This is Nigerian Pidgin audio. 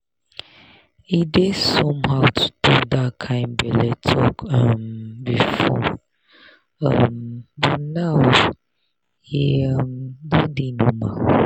e dey somehow to talk that kind belle talk um before um but now e um don dey normal.